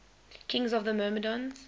kings of the myrmidons